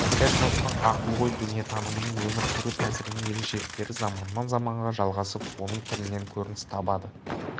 этностың ақыл-ой дүниетанымының өмір сүру тәсілінің ерекшеліктері заманнан заманға жалғасып оның тілінен көрініс табады